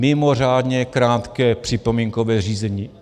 Mimořádně krátké připomínkové řízení.